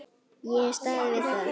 Ég hef staðið við það.